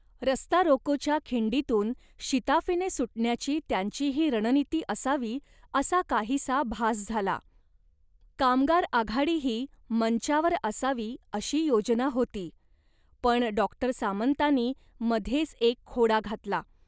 रस्ता रोकोच्या खिंडीतून शिताफीने सुटण्याची त्यांची ही रणनीती असावी असा काहीसा भास झाला. कामगार आघाडीही मंचावर असावी अशी योजना होती, पण डॉक्टर सामंतांनी मध्येच एक खोडा घातला